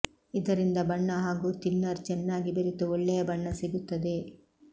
ಇದರಿಂದ ಬಣ್ಣ ಹಾಗೂ ಥಿನ್ನರ್ ಚೆನ್ನಾಗಿ ಬೆರೆತು ಒಳ್ಳೆಯ ಬಣ್ಣ ಸಿಗುತ್ತದೆ